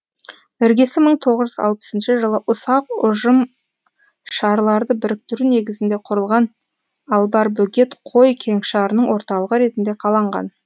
іргесі мың тоғыз жүз алпысыншы жылы ұсақ ұжымшарларды біріктіру негізінде құрылған албарбөгет қой кеңшарының орталығы ретінде қаланған